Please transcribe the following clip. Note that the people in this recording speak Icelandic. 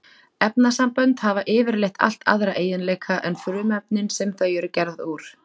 Efnasambönd hafa yfirleitt allt aðra eiginleika en frumefnin sem þau eru gerð úr.